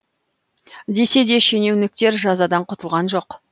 десе де шенеуніктер жазадан құтылған жоқ